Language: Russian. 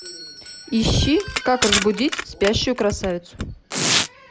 ищи как разбудить спящую красавицу